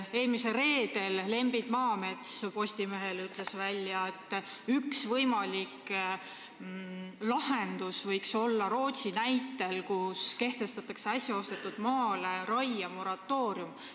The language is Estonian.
Eelmisel reedel ütles Lembit Maamets Postimehele välja, et üks võimalik lahendus võiks olla Rootsi näide, kus äsja ostetud maale kehtestatakse raiemoratoorium.